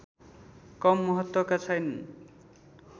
कम महत्त्वका छैनन्